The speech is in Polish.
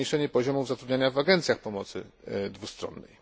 zmniejszenie poziomu zatrudnienia w agencjach pomocy dwustronnej.